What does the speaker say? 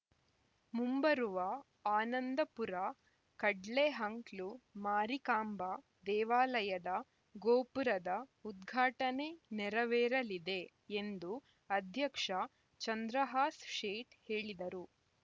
ಮುಂಬರುವ ಆನಂದಪುರ ಕಡ್ಲೆಹಂಕ್ಲು ಮಾರಿಕಾಂಬಾ ದೇವಾಲಯದ ಗೋಪುರದ ಉದ್ಘಾಟನೆ ನೆರವೇರಲಿದೆ ಎಂದು ಅಧ್ಯಕ್ಷ ಚಂದ್ರಹಾಸ್‌ ಶೇಠ್ ಹೇಳಿದರು